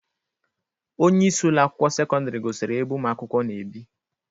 Onyeisi Ụlọ akwụkwọ sekọndrị gosiri ya ebe ụmụ akwụkwọ na-ebi.